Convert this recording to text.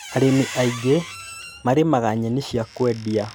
Arĩmi aingĩ marĩmaga nyeni cia kũendia.